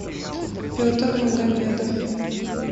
петр магомедов